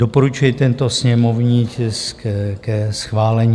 Doporučuji tento sněmovní tisk ke schválení.